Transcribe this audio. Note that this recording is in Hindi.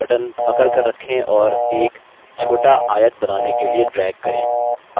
बायाँmouse button पकड़कर रखें और एक छोटा आयत बनाने के लिए drag करें